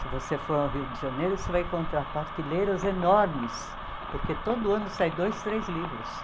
Se você for ao Rio de Janeiro, você vai encontrar partilheiras enormes, porque todo ano sai dois, três livros.